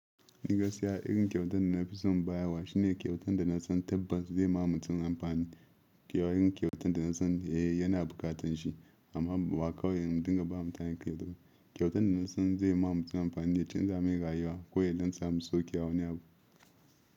Ni gaskiya irin kyautan da na fi so baya wa shine kyautan da na san tabban zai ma mutum amfani. Irin kyautan da na san yana bukatan shi amma ba kawo yin dinka ba mutane ke duba. Kyautan da na san zai ma mutum amfani ya canza min rayuwa ko da yadda na samu sauke a wani abu.